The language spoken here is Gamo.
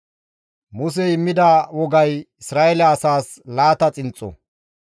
Musey immida wogay Isra7eele asaas laata xinxxo.